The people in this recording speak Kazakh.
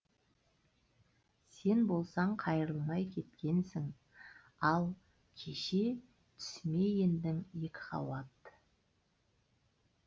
сен болсаң қайрылмай кеткенсің ал кеше түсіме ендің екіқабат